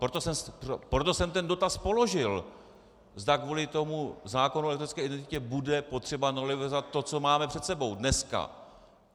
Proto jsem ten dotaz položil, zda kvůli tomu zákonu o elektronické identitě bude potřeba novelizovat to, co máme před sebou dneska.